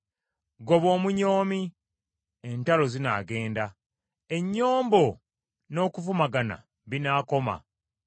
Goba omunyoomi, entalo zinaagenda, ennyombo n’okuvumagana binaakoma.